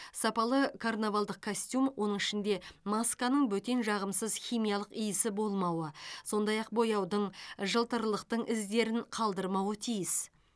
сапалы карнавалдық костюм оның ішінде масканың бөтен жағымсыз химиялық иісі болмауы сондай ақ бояудың жылтырлықтың іздерін қалдырмауы тиіс